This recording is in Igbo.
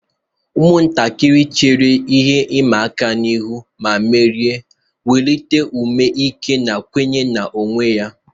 Ụmụntakịrị chere ihe ịma aka ihu ma merie, wulite ume ike na nkwenye onwe onye.